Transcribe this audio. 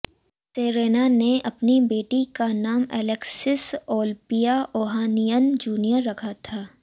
Serena ने अपनी बेटी का नाम एलेक्सिस ओलंपिया ओहानियन जूनियर रखा था